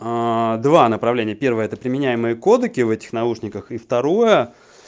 аа два направления первое это применяемые кодеки в этих наушниках и второе